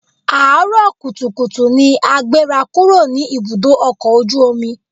Àárọ̀ kùtùkùtù ni a gbéra kúrò ní ibùdó ọkọ̀ ojú omi